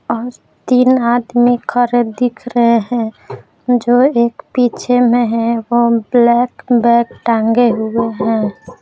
औरतीन आदमी खड़े दिख रहे हैं जो एक पीछे में है वह ब्लैक बैक टांगे हुए हैं।